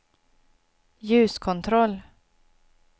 ljuskontroll